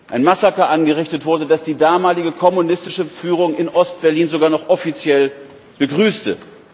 ein Massaker angerichtet wurde, das die damalige kommunistische Führung in Ostberlin sogar noch offiziell begrüßte!